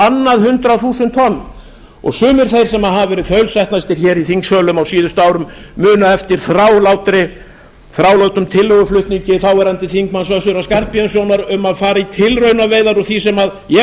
annað hundrað þúsund tonn og sumir þeir sem hafa verið þaulsætnastir hér í þingsölum á síðustu árum muna eftir þrálátum tillöguflutningi þáverandi þingmanns össurar skarphéðinssonar um að fara í tilraunaveiðar á því sem ég